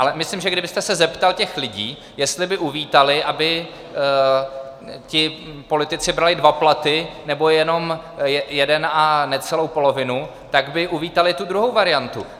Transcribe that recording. Ale myslím, že kdybyste se zeptal těch lidí, jestli by uvítali, aby ti politici brali dva platy, nebo jenom jeden a necelou polovinu, tak by uvítali tu druhou variantu.